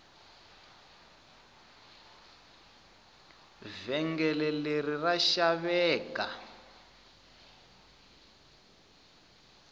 vhengele leri ra xaveka